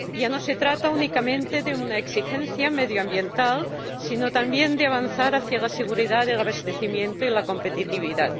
Ya no se trata únicamente de una exigencia medioambiental, sino también de avanzar hacia la seguridad de abastecimiento y la competitividad.